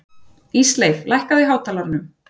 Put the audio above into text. Ísleif, lækkaðu í hátalaranum.